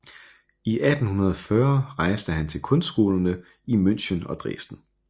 I 1840 rejste han til kunstskolerne i München og Dresden